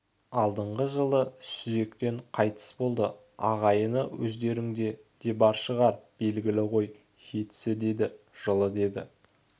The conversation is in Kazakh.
алдыңғы жылы сүзектен қайтыс болды ағайын өздеріңде де бар шығар белгілі ғой жетісі деді жылы деді